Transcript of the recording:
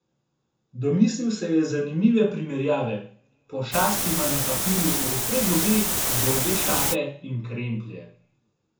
Domislil se je zanimive primerjave: "Pošast ima na papirju ostre zobe, dolge šape in kremplje.